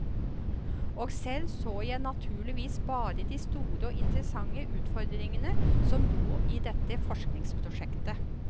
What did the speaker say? Og selv så jeg naturligvis bare de store og interessante utfordringene som lå i dette forskningsprosjektet.